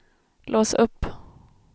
lås upp